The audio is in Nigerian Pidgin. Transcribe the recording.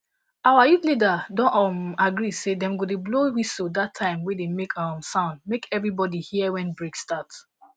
our youth leader don um agree say dem go dey blow whistle that timg wey dey make um sound make everybody hear when break start